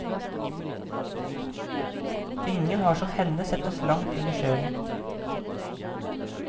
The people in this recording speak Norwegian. Ingen har som henne sett oss langt inn i sjelen.